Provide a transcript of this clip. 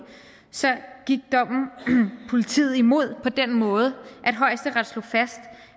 så gik dommen politiet imod på den måde at højesteret slog fast